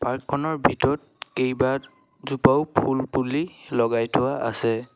Park খনৰ ভিতৰত কেইবাজোপাও ফুলপুলি লগাই থোৱা আছে।